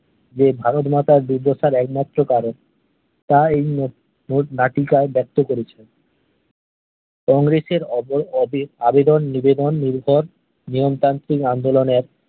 যে ভারতমাতার দুর্দশার এক মাত্র কারণ তা এই মোট মোট নাটিকায় ব্যাক্ত করেছেন কংগ্রেসের অব অবে আবেদন নিবেদন নির্ভর নিয়ম তান্ত্রিক আন্দোলনের